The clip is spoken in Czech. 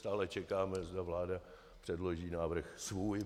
Stále čekáme, zda vláda předloží návrh svůj.